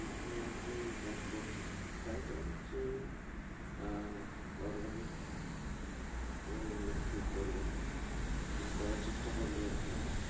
যেখানে আপনি চাষ করছেন try করুন যে আহ organic আহ একটু করবেন মানে চেষ্টা করলে ভালো হবে